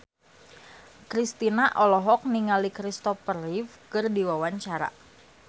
Kristina olohok ningali Christopher Reeve keur diwawancara